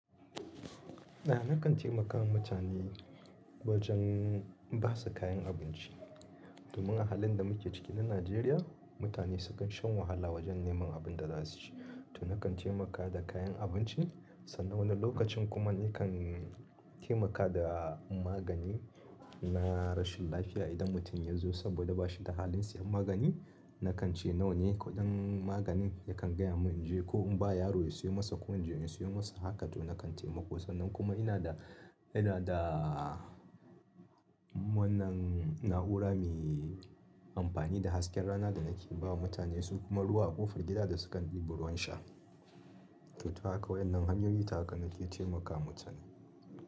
A'a nakan taimaka wa mutane wajen ba su kayan abinci. Domin a halin da muke ciki na Najeriya, mutane sukan shan wahala wajen neman abin da za su ci. To nakan taimaka da kayan abinci sannan wani lokacin kuma nakan taimaka da magani na rashin lafiya idan mutum ya zo saboda bashi da halin siyan magani, nakan ce nawane kuɗin maganin? Yakan gayamun inje ko in ba yaro ya siyo masa, ko inje in siyo masa. Haka toh nakan taimako, sannan kuma inada, inada wannan na'ura mai anfani da hasken rana danake bawa mutane su kuma ruwa a kofar gida da sukan dibi ruwan sha. To haka waɗannan hanyoyi ta haka nake taimakawa mutane.